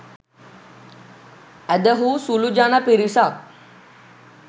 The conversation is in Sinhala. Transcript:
ඇදහූ සුළු ජන පිරිසක්